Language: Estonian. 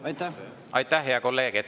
Aitäh, hea kolleeg!